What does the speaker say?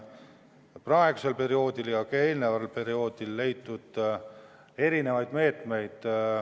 Selle pidurdamiseks on praegusel perioodil ja ka eelmisel perioodil rakendatud erinevaid meetmeid.